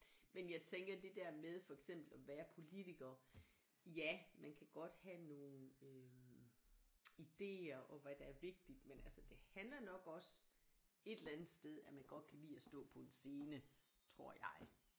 Men jeg tænker det der med for eksempel at være politiker ja man kan godt have nogle øh ideer og hvad der er vigtigt men altså det handler nok også et eller andet sted at man godt kan lide at stå på en scene tror jeg